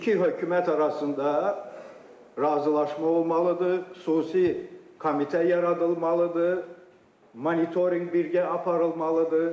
İki hökumət arasında razılaşma olmalıdır, xüsusi komitə yaradılmalıdır, monitorinq birgə aparılmalıdır.